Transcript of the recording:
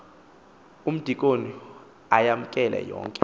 umdikoni ayamkele yonke